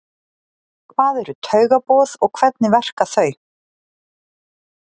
Hvað eru taugaboð og hvernig verka þau?